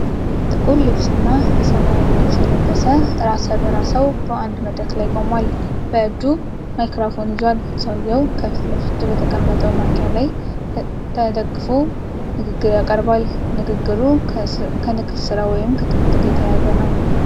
ጥቁር ልብስና የሰማያዊ ልብስ የለበሰ ራሰ በራ ሰው በአንድ መድረክ ላይ ቆሟል። በእጁ ማይክሮፎን ይዟል። ሰውየው ከፊት ለፊቱ በተቀመጠው ማንኪያ ላይ ተደግፎ ንግግር ያቀርባል። ንግግሩ ከንግድ ሥራ ወይም ከትምህርት ጋር የተያያዘ ነው።